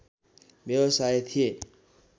व्यवसाय थिए